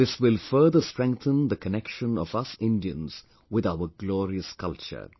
This will further strengthen the connection of us Indians with our glorious culture